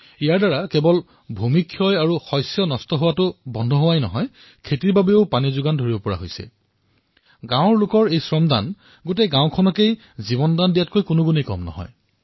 ইয়াৰ দ্বাৰা কেৱল ভূমি ক্ষয় আৰু শস্য নষ্ট প্ৰতিৰোধ হোৱাই নহয় পথাৰসমূহলৈ উপযুক্ত জলসিঞ্চনৰো ব্যৱস্থা সম্ভৱ হৈছে